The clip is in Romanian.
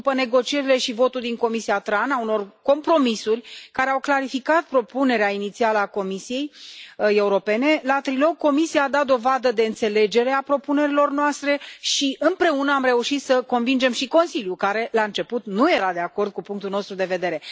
După negocierile și votul din comisia TRAN a unor compromisuri care au calificat propunerea inițială a Comisiei Europene, la trilog Comisia a dat dovadă de înțelegere a propunerilor noastre și împreună am reușit să convingem și Consiliul, care la început nu era de acord cu punctul nostru de vedere.